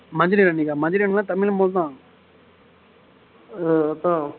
மந்திரி மந்திரி தமிழன் போல தான் ஆஹ் அதான்